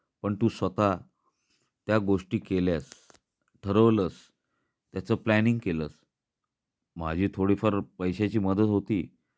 पण तू स्वतः त्या गोष्टी केल्यास. ठरवलंस त्याच प्लॅनिंग केलस, माझी थोडी फार पैश्याची मदत होती.